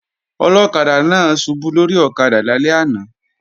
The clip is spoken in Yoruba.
Ọlọ́kadà náà ṣubú lórí ọ̀kadà lálẹ́ àná